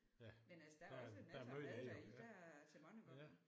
Men altså der er også masser af mad deri der er til mange gange